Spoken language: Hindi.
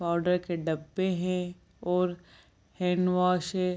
पाउडर के डब्बे हैं और हैंडवाश है |